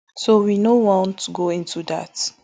so we no want go into dat